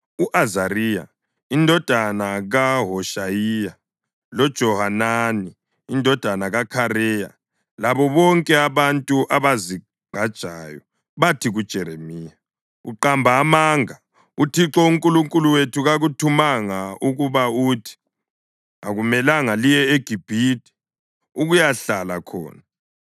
u-Azariya indodana kaHoshayiya, loJohanani indodana kaKhareya labo bonke abantu abazigqajayo bathi kuJeremiya, “Uqamba amanga! UThixo uNkulunkulu wethu kakuthumanga ukuba uthi, ‘Akumelanga liye eGibhithe ukuyahlala khona.’